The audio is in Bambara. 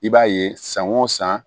I b'a ye san o san